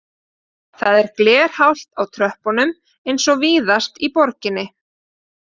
Það er glerhált á tröppunum eins og víðast í borginni